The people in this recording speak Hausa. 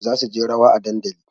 Za su je rawa a dandali